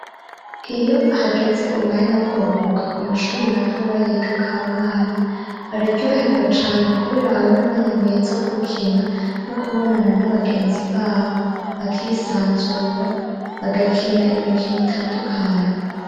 Iyo hageze umwanya wo kuruhuka ku mashuri matoya yigako abana bararyohegwa cane kubera aba ar'umwanya mwiza wo gukina no kubonana n'abagenzi babo, bakisanzura bagakina imikino itandukanye.